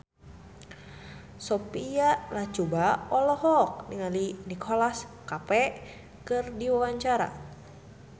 Sophia Latjuba olohok ningali Nicholas Cafe keur diwawancara